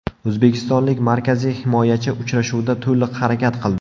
O‘zbekistonlik markaziy himoyachi uchrashuvda to‘liq harakat qildi.